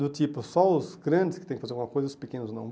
Do tipo, só os grandes que tem que fazer alguma coisa e os pequenos não.